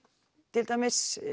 til dæmis